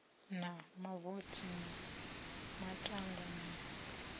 na mavothi na matanda na